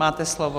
Máte slovo.